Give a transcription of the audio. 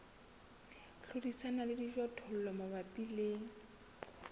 hlodisana le dijothollo mabapi le